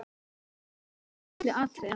Ég flutti efnið á milli atriða.